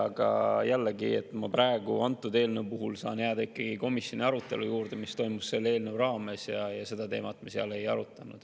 Aga jällegi, praegu antud eelnõu puhul saan ma jääda ikkagi komisjoni arutelu juurde, mis toimus selle eelnõu raames, ja seda teemat me seal ei arutanud.